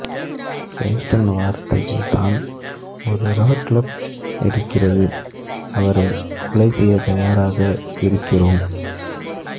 கேஸ்டன் வார்த்தைகள்தான் ஒரு rock club எடுக்கிறது அவரை கொலை செய்ய தயாராக இருக்கிறோம்